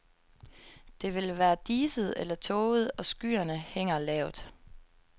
Det vil være diset eller tåget, og skyerne hænger lavt.